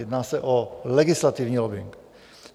Jedná se o legislativní lobbing.